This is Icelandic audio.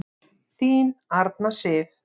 Þín Arna Sif.